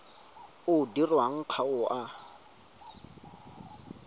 o dirwang ga o a